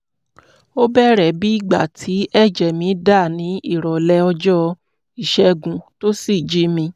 ó bẹ̀rẹ̀ bí ìgbà tí ẹ̀jẹ̀ mi dá ní ìrọ̀lẹ́ ọjọ́ ìṣẹ́gun tó sì jí mi